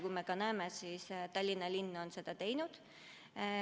Ja me näeme, et Tallinna linn on seda teinud.